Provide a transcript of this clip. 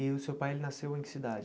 E o seu pai, ele nasceu em que cidade?